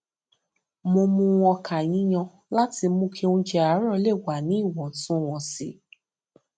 mo mú ọkà yíyan láti mú kí oúnjẹ àárò lè wà ní ìwòntúnwònsì